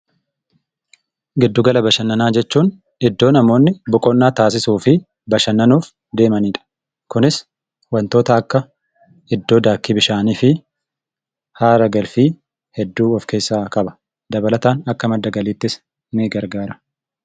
Giddugala bashannanaa jechuun iddoo namoonni boqonnaa taasisuufi bashannanuuf deemanidha. Kunis wantoota akka iddoo daakkii bishaanii fi haara galfii hedduu of keessaa qaba. Dabalataan akka madda galiittis nii gargaara.